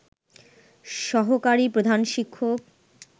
সহকারি প্রধান শিক্ষক